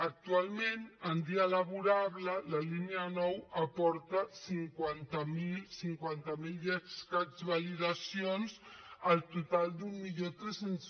actualment en dia laborable la línia nou aporta cinquanta mil i escaig validacions al total d’mil tres cents